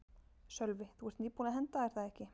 Sölvi: Þú ert nýbúin að henda er það ekki?